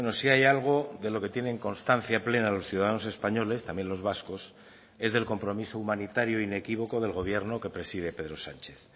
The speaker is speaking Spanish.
si hay algo de lo que tienen constancia plena los ciudadanos españoles también los vascos es del compromiso humanitario inequívoco del gobierno que preside pedro sánchez